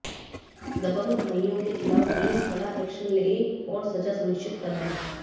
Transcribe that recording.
दबंग भाईयों के खिलाफ पुलिस कड़ा एक्शन ले और सजा सुनिश्चित कराए